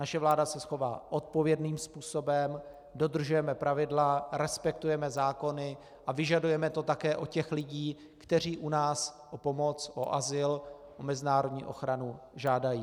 Naše vláda se chová odpovědným způsobem, dodržujeme pravidla, respektujeme zákony a vyžadujeme to také od těch lidí, kteří u nás o pomoc, o azyl, o mezinárodní ochranu žádají.